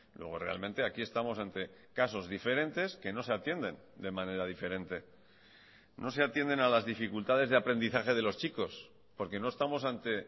luego realmente aquí estamos ante casos diferentes que no se atienden de manera diferente no se atienden a las dificultades de aprendizaje de los chicos porque no estamos ante